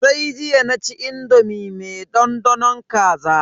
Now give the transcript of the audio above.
Sai jiya naci indomi me dandanon kaza.